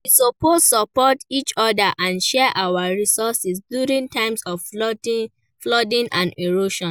We suppose support each other and share our resources during times of flooding and erosion.